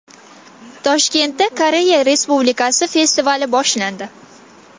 Toshkentda Koreya Respublikasi festivali boshlandi.